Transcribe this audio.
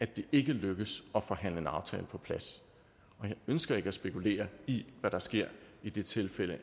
det ikke lykkes at forhandle en aftale på plads og jeg ønsker ikke at spekulere i hvad der sker i det tilfælde